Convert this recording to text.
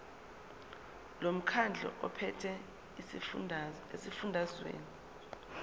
lomkhandlu ophethe esifundazweni